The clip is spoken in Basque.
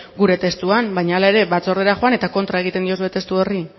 gure testuan baina hala ere batzordera joan eta kontra egiten diozue testu horri